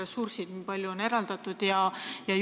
Kui palju on eraldatud?